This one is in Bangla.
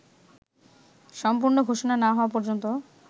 সম্পূর্ণ ঘোষণা না হওয়া পর্যন্ত